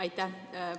Aitäh!